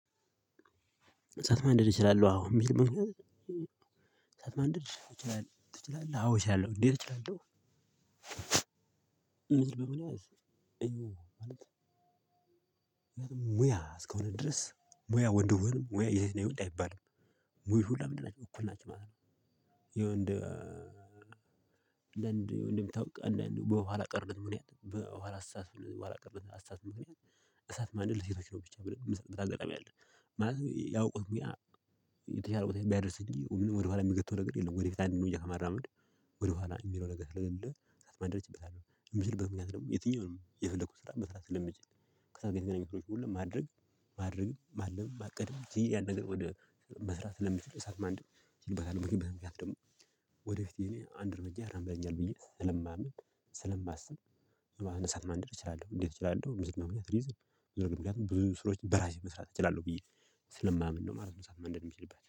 እሳት ማንደድ እችላለሁ አሁን የሚል መንገድ እሳት ማንደድ ትችላለህ አወ እችላለው እንዴት እችላለው? ምድር በመሆን አይደለም እዬ ማለጥ ማለት ሙያ እስከሆነ ድረስ ሙያ ወንድም ሙያ የሴት እና የወንድ አይባልም። እይሁላ ለምንድነው እኩል ናቸው ማለት ነው። የወንድ እንደ ወንድም ታውቃለህ በኋላቀር ብንሄድ በኋላ አስተሳሰብ በኋላቀር አሳት ብንሄድ እሳት ማንደድ ለሴቶች ነው ብቻ ብለን የምንሰጥበት አጋጣሚ አለ። ማለት የሚያውቁት ሙያ የተቻለ ቦታ ሚያደርስ እንጂ ወደኋላ የሚገተት ነገር የለውም ወደፊት አንድ እርምጃ ከመራመድ ወደኋላ የሚለው ነገር ስለሌለ። ማድረግ ይችላለሁ የምችልበት ምክንያት ደግሞ የትኛውንም የፈለኩት ስራ መስራት ስለሚችል፤ ከእሳቱ ጋር የተገናኘሁት ሁሉ ማድረግ፣ ማድረግም፣ ማለም፣ ማቀድም ይሄ ያነገር ወደ መስራት ስለሚችል እሳት ማንደድ ይልበታል ወደፊት አንድ እርምጃ ያራምደኛል ብዬ ስለማምን፣ ስለማስብ እሳት ማንደድ እችላለሁ። እንዴት እችላለሁ ምዝብ መሆን ሪዝን ብዙ ስራዎች በራሴ መስራት እችላለሁ ብዬ ስለማምን ነው ማለት ነው። እሳት ማንደድ የሚችልበት።